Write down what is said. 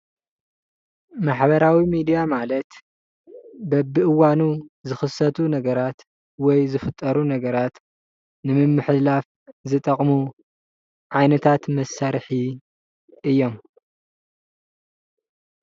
ማሕበራዊ ሚድያ ማለት በቢእዋኑ ዝክሰቱ ነገራት ወይ ዝፍጠሩ ነገራት ንምምሕልላፍ ዝጠቅሙ ዓይነታት መሳርሒ እዮም።